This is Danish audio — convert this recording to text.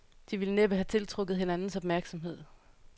De ville næppe have tiltrukket hinandens opmærksomhed.